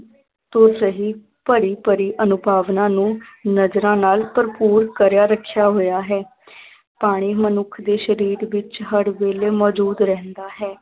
ਭਰੀ ਭਰੀ ਅਨੂਭਾਵਨਾ ਨੂੰ ਨਜਰਾਂ ਨਾਲ ਭਰਪੂਰ ਕਰਿਆ ਰੱਖਿਆ ਹੋਇਆ ਹੈ ਪਾਣੀ ਮਨੁੱਖ ਦੇ ਸਰੀਰ ਵਿੱਚ ਹਰ ਵੇਲੇ ਮੌਜੂਦ ਰਹਿੰਦਾ ਹੈ।